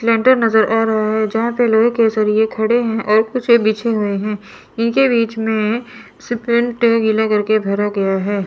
Cylinder लेंटर नज़र आ रहा हैं जहां पे लोहे के सरिए खड़े है और कुछ बिछे हुए है इनके बीच में सीपेंट गीला कर के भरा गया हैं।